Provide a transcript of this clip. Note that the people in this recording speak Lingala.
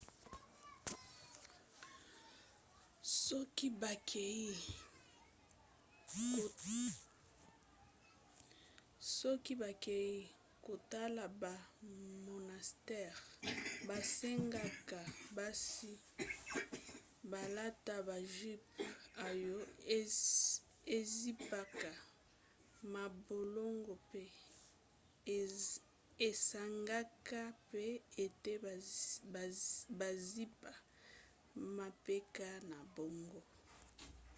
soki bakei kotala ba monastères basengaka basi balata ba jupes oyo ezipaka mabolongo pe esengaka mpe ete bazipa mapeka na bango